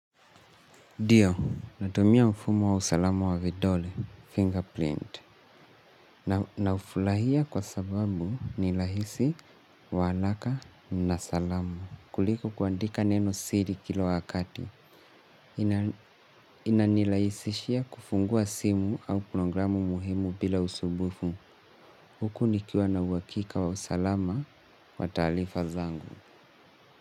Ndio, natumia mfumo wa usalama wa vidole, fingerprint, na ufurahia kwa sababu ni rahisi, wa haraka na salama. Kuliko kuandika neno siri kila wakati, inanirahisishia kufungua simu au programu muhimu bila usumbufu. Huku nikiwa na uhakika wa usalama wa taarifa zangu.